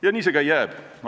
Ja nii see ka jääb.